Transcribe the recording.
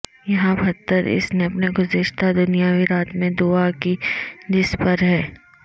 یہاں پتھر اس نے اپنے گزشتہ دنیاوی رات میں دعا کی جس پر ہے